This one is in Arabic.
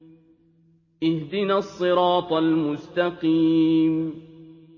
اهْدِنَا الصِّرَاطَ الْمُسْتَقِيمَ